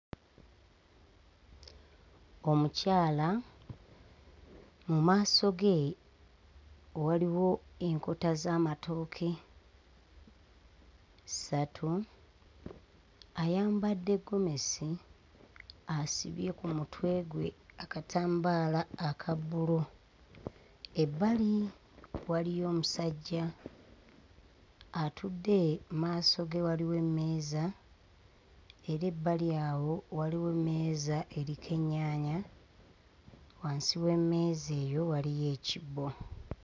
Omukyala mu maaso ge waliwo enkota z'amatooke ssatu, ayambadde ggomesi asibye ku mutwe gwe akatambaala aka bbulu. Ebbali waliyo omusajja atudde, mu maaso ge waliwo emmeeza era ebbali awo waliwo emmeeza eriko ennyaanya; wansi w'emmeeza eyo waliyo ekibbo.